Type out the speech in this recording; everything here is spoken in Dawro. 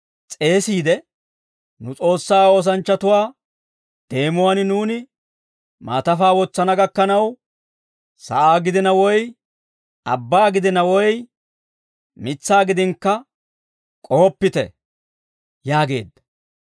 s'eesiide, «Nu S'oossaa oosanchchatuwaa deemuwaan nuuni maatafaa wotsana gakkanaw, sa'aa gidina woy abbaa gidina, woy mitsaa gidinakka k'ohoppite» yaageedda.